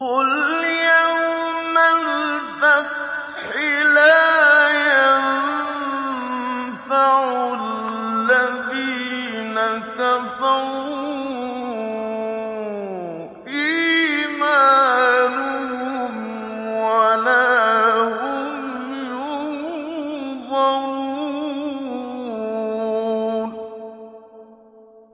قُلْ يَوْمَ الْفَتْحِ لَا يَنفَعُ الَّذِينَ كَفَرُوا إِيمَانُهُمْ وَلَا هُمْ يُنظَرُونَ